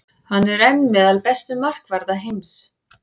Hann er enn meðal bestu markvarða heims.